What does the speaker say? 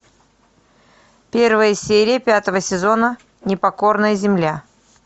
первая серия пятого сезона непокорная земля